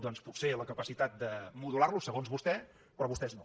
doncs potser la capacitat de modular lo segons vostè però vostès no